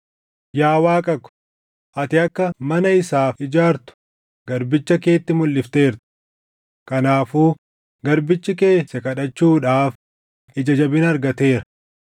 “Yaa Waaqa ko, ati akka mana isaaf ijaartu garbicha keetti mulʼifteerta. Kanaafuu garbichi kee si kadhachuudhaaf ija jabina argateera.